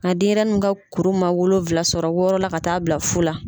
Ka denyɛrɛni n ka kuru ma wolowula sɔrɔ, wɔɔrɔ la ka taa bila fu la.